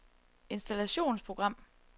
installationsprogram